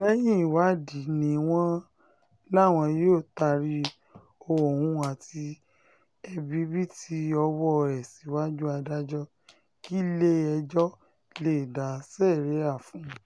lẹ́yìn ìwádìí ni wọ́n láwọn yóò taari òun àti ẹ̀bibììtì ọwọ́ ẹ̀ síwájú adájọ́ kílẹ̀-ẹjọ́ lè dá síríà fún un